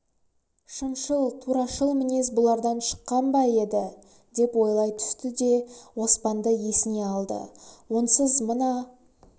шыншыл турашыл мінез бұлардан шыққан ба еді деп ойлай түсті де оспанды есіне алды онсыз мына